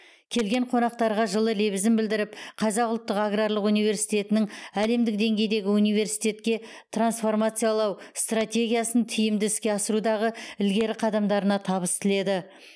келген қонақтарға жылы лебізін білдіріп қазақ ұлттық аграрлық университетінің әлемдік деңгейдегі университетке трансформациялау стратегиясын тиімді іске асырудағы ілгері қадамдарына табыс тіледі